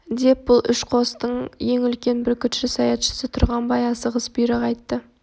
деп бұл үш қостың ең үлкен бүркітші саятшысы тұрғанбай асығыс бұйрық айтты